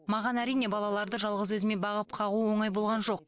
маған әрине балаларды жалғыз өзіме бағып қағу оңай болған жоқ